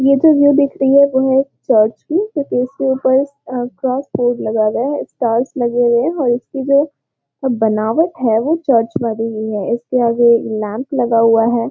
यह जो व्यू दिख रही है वो है एक चर्च इसके ऊपर स्टेज लगाया गया है स्टार्स लगे हुए है और इसके जो बनावट है वो चर्च बन रही है इसके आगे लैंप लगा हुआ है। .